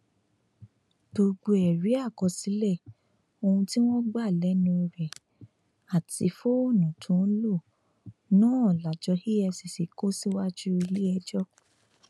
gbogbo ẹrí àkọsílẹ ohun tí wọn gbà lẹnu rẹ àti fóònù tó ń lò náà lájọ efcc kò síwájú iléẹjọ